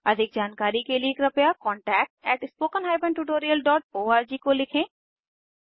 अधिक जानकारी के लिए कृपया contactspoken tutorialorg को लिखें